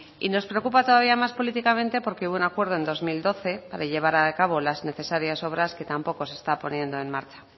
y nos preocupa todavía más políticamente porque hubo acuerdo en dos mil doce para llevar a cabo las necesarias obras que tampoco se está poniendo en marcha